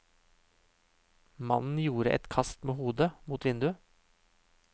Mannen gjorde et kast med hodet, mot vinduet.